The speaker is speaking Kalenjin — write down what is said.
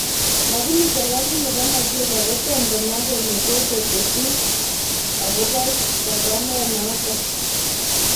Lakini serekalit nebo Nageria kotomo komwa kole kokoteshi kuhusu chaguanet notok.